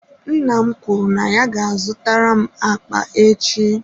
Nna m kwuru na ya ga-azụtara m akpa echi.